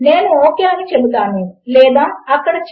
వాటిని ప్రయత్నించి చూడండి మరియు వాటితో మీరు ఏమేమి చేయగలరో చూడండి